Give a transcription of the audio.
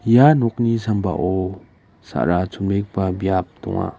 ia nokni sambao sa·ra chonbegipa biap donga.